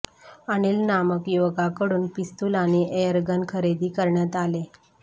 अनिल नामक युवकाकडून पिस्तूल आणि एअरगन खरेदी करण्यात आले